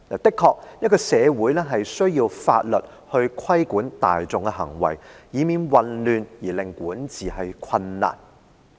的確，社會需要法律來規管大眾的行為，以免混亂而令管治困難。